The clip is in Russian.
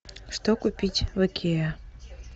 что купить в икеа